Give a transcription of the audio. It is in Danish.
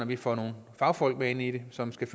vi får nogle fagfolk med ind i det som skal